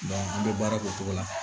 an bɛ baara k'o cogo la